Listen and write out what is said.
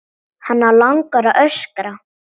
Hana langar að öskra.